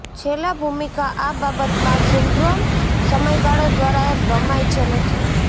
છેલ્લા ભૂમિકા આ બાબતમાં સિન્ડ્રોમ સમયગાળો દ્વારા રમાય છે નથી